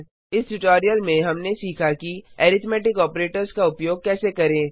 इस ट्यूटोरियल में हमने सीखा कि अरिथ्मैटिक ऑपरेटर्स का उपयोग कैसे करें